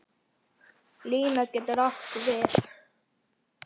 Lína getur átt við